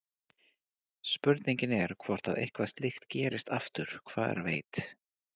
Spurningin er hvort að eitthvað slíkt gerist aftur, hver veit?